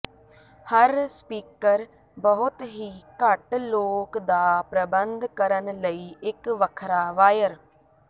ਹਰ speaker ਬਹੁਤ ਹੀ ਘੱਟ ਲੋਕ ਦਾ ਪ੍ਰਬੰਧ ਕਰਨ ਲਈ ਇਕ ਵੱਖਰਾ ਵਾਇਰ